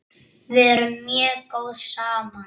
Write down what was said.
Við erum mjög góð saman.